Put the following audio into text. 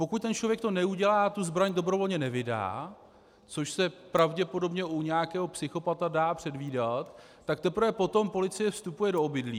Pokud ten člověk to neudělá a tu zbraň dobrovolně nevydá, což se pravděpodobně u nějaké psychopata dá předvídat, tak teprve potom policie vstupuje do obydlí.